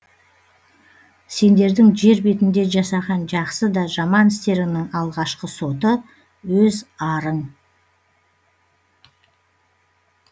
сендердің жер бетінде жасаған жақсы да жаман істеріңнің алғашқы соты өз арың